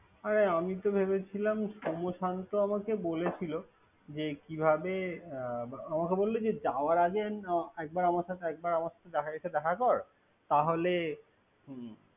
হ্যা আমি ভেবেছিলাম। সোম শান্ত আমাকে বলেছিল। যে কিভাবে। আমকে বলেছিল যাওয়ার আগের একবার একবার দেখা কর তাহলে হুম।